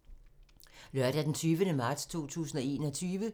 Lørdag d. 20. marts 2021